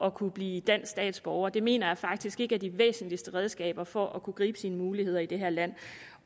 at kunne blive dansk statsborger det mener jeg faktisk ikke er de væsentligste redskaber for at kunne gribe sine muligheder i det her land